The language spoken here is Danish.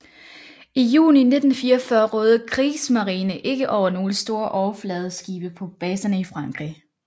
I juni 1944 rådede Kriegsmarine ikke over nogle store overfladeskibe på baserne i Frankrig